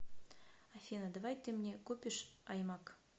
афина давай ты мне купишь аймак